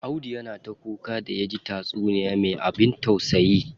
Audu yana ta kuka da yaji taysuniya me abin tausayi.